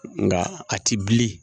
Nka a ti bilen